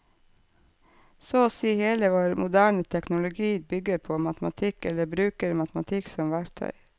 Så å si hele vår moderne teknologi bygger på matematikk eller bruker matematikk som verktøy.